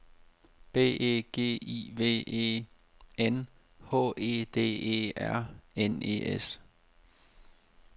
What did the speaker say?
B E G I V E N H E D E R N E S